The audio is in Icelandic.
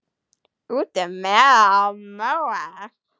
Út um mela og móa!